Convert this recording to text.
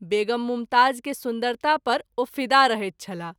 वेगम मुमताज़ के सुन्दरता पर ओ फिदा रहैत छलाह।